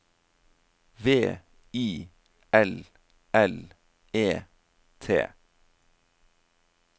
V I L L E T